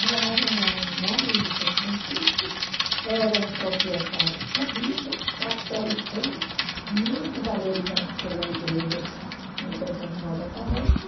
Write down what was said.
Moravam na margem do São Francisco, era um proprietário terrível, catolicão, muito valorizado pela igreja, determinada paróquia.